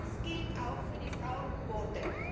Das gilt auch für die Frauenquote.